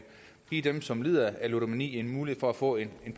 give dem som lider af ludomani en mulighed for at få en